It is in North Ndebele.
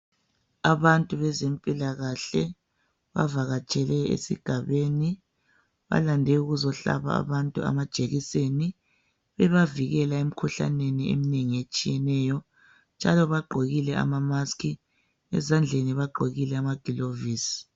Abantu bezempilakahle bavakatshele esigabeni balande ukuzo hlaba abantu amajekiseni bebavikela emikhuhlaneni eminengi etshiyeneyo njalo bagqokile amamasiki ezandleni bagqokile amagilovisi.